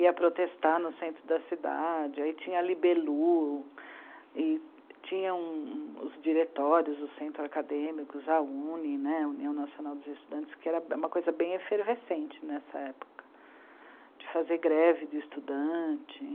ia protestar no centro da cidade, aí tinha a Libelu, e tinham os diretórios, os centros acadêmicos, a u ene ê, União Nacional dos Estudantes, que era uma coisa bem efervescente nessa época, de fazer greve de estudante.